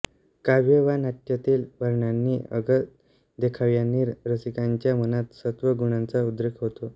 काव्य वा नाट्यातील वर्णनांनी अगर देखाव्यांनी रसिकांच्या मनात सत्व गुणांचा उद्रेक होतो